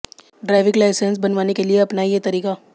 driving licence बनवाने के लिए अपनाएं ये तरीका